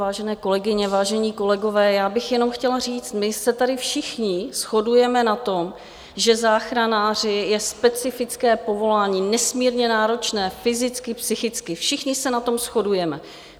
Vážené kolegyně, vážení kolegové, já bych jenom chtěla říct, my se tady všichni shodujeme na tom, že záchranáři je specifické povolání, nesmírně náročné fyzicky, psychicky, všichni se na tom shodujeme.